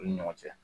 U ni ɲɔgɔn cɛ